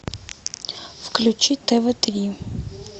включи тв три